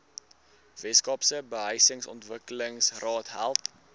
weskaapse behuisingsontwikkelingsraad help